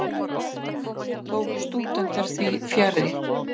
Tóku stúdentar því fjarri.